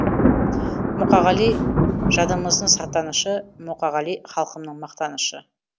мұқағали жадымыздың сақтанышы мұқағали халқымның мақтанышы